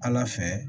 Ala fɛ